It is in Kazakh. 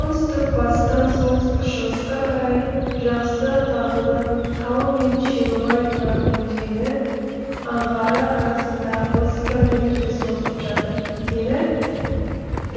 оңтүстік батыстан солтүстік шығысқа қарай жақсы тағылы тауы мен шерубай нұра өзені аңғары арасында отыз километрге созылып жатыр ені